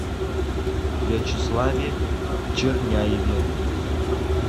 вячеславе черняеве